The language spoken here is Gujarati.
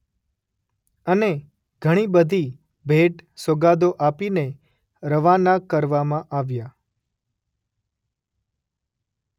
અને ઘણી બધી ભેટ - સોગાદો આપીને રવાના કરવામાં આવ્યા.